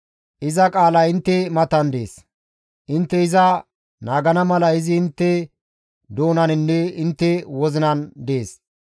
Iza qaalay intte matan dees; intte iza naagana mala izi intte doonaninne intte wozinan dees.